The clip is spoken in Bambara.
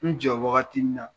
N jɔ wagati min na.